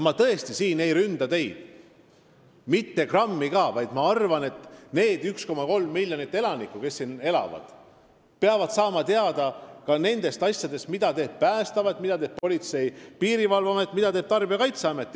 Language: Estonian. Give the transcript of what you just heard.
Ma tõesti ei ründa teid siin – mitte grammi ka –, vaid arvan, et need 1,3 miljonit inimest, kes siin elavad, peavad teavituskampaaniate kaudu saama teada ka nendest asjadest, mida teeb Päästeamet, mida teeb Politsei- ja Piirivalveamet, mida teeb Tarbijakaitseamet.